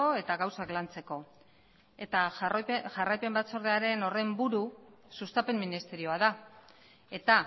eta gauzak lantzeko eta jarraipen batzorde horren buru sustapen ministerioa da eta